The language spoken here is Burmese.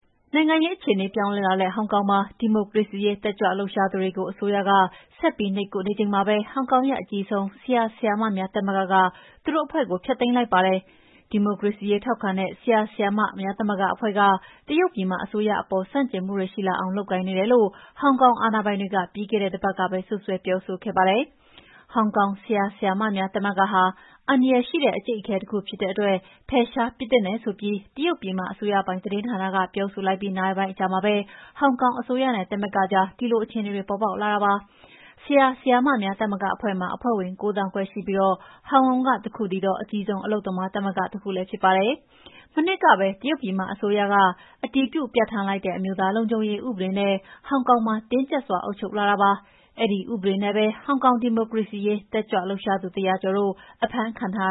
နိုင်ငံရေးအခြေအနေပြောင်းလဲလာတဲ့ ဟောင်ကောင်မှာ ဒီမိုကရေစီရေးတက်ကြွလှုပ်ရှားသူတွေကို အစိုးရက ဆက်ပြီးနှိပ်ကွပ်နေချိန်မှာပဲ ဟောင်ကောင်ရဲ့ အကြီးဆုံး ဆရာ၊ ဆရာမများသမဂ္ဂက သူတို့ အဖွဲ့ကိုဖျက်သိမ်းလိုက်ပါတယ်။ ဒီမိုကရေစီရေးထောက်ခံတဲ့ ဆရာဆရာမများသမဂ္ဂအဖွဲ့က တရုတ်ပြည်မအစိုးရအပေါ် ဆန့်ကျင်မှုတွေရှိလာအောင် လုပ်ကိုင်နေတယ်လို့ ဟောင်ကောင်အာဏာပိုင်တွေက ပြီးခဲ့တဲ့တပတ်ကပဲ စွပ်စွဲပြောဆိုခဲ့ပါတယ်။ ဟောင်ကောင် ဆရာဆရာမများသမဂ္ဂဟာ" အန္တရာယ်ရှိတဲ့ အကြိတ်အခဲ "တခုဖြစ်တဲ့အတွက် ဖယ်ရှားပစ်သင့်တယ်ဆိုပြီး တရုတ်ပြည်မအစိုးရပိုင် သတင်းဌာန ပြောဆိုလိုက်ပြီး နာရီပိုင်းအကြာမှာပဲ ဟောင်ကောင်အစိုးရနဲ့ သမဂ္ဂကြား ဒီလို အခြေအနေတွေ ပေါ်ပေါက်လာတာဖြစ်ပါတယ်။ ဆရာဆရာများ သမဂ္ဂအဖွဲ့မှာ အဖွဲ့ဝင် ၉ သောင်းခွဲရှိပြီး ဟောင်ကောင်က တခုတည်းသော အကြီးဆုံးအလုပ်သမားသမဂ္ဂတခုလည်းဖြစ်ပါတယ်။ မနှစ်ကပဲ တရုတ်ပြည်မအစိုးရက အတည်ပြုပြဌာန်းလိုက်တဲ့ အမျိုးသားလုံခြုံရေးဥပဒေနဲ့ ဟောင်ကောင်မှာ တင်းကြပ်စွာအုပ်ချုပ်လာတာဖြစ်ပါတယ်။ အဲဒီဥပဒေနဲ့ပဲ ဟောင်ကောင် ဒီမိုကရေစီရေး တက်ကြွလှုပ်ရှားသူ ၁၀၀ ကျော်တို့ အဖမ်းခံထား